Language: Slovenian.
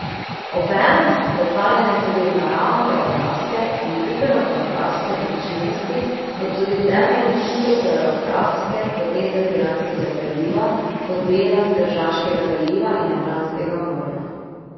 Obenem so predstavljene tudi naravnogeografske in družbenogeografske značilnosti kot tudi temeljne hidrogeografske poteze Piranskega zaliva kot dela Tržaškega zaliva in Jadranskega morja.